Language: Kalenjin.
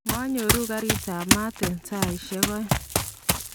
manyoru garit maat eng saisie oeng.